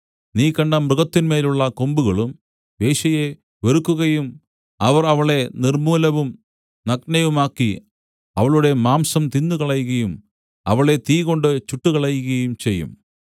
നീ കണ്ട മൃഗത്തിന്മേലുള്ള കൊമ്പുകളും വേശ്യയെ വെറുക്കുകയും അവർ അവളെ നിർമ്മൂലവും നഗ്നയുമാക്കി അവളുടെ മാംസം തിന്നുകളയുകയും അവളെ തീകൊണ്ട് ചുട്ടുകളയുകയും ചെയ്യും